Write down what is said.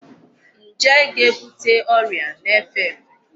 Njé ga-ebute ọrịa na-efe efe.